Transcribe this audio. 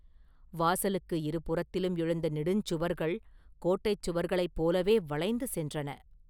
வாசலுக்கு இருபுறத்திலும் எழுந்த நெடுஞ்சுவர்கள் கோட்டைச் சுவர்களைப் போலவே வளைந்து சென்றன.